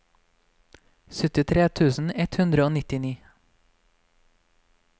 syttitre tusen ett hundre og nittini